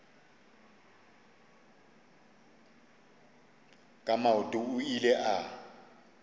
ka maoto o ile a